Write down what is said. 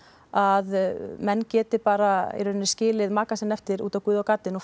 að menn geti bara skilið maka sinn eftir úti á guð og gaddinn og